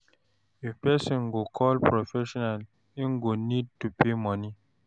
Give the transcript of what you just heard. If person go call professional im go need to pay money